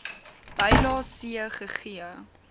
bylae c gegee